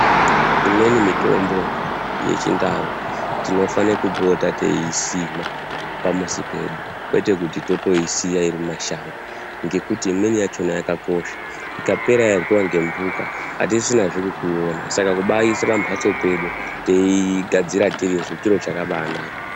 Imweni mitombo yechindau tinofane kupota teyiisima pamuzi pedu, kwete kuti totoisiya iri mumashango, ngekuti imweni yachona yakakosha. Ikapera yaryiwa ngembuka hatisisinazve kwekuiona saka kubaiise pambatso pedu teiigadzira tirisu, chiro chakabanaka.